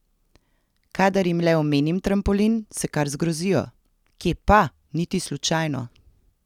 Kadar jim le omenim trampolin, se kar zgrozijo: "Kje pa, niti slučajno!